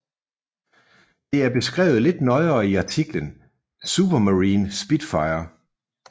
Det er beskrevet lidt nøjere i artiklen Supermarine Spitfire